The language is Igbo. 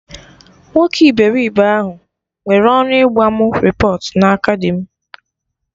Nwoke iberibe ahụ nwere ọnụ ịgba mụ repọt na aka dim